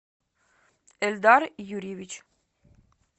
эльдар юрьевич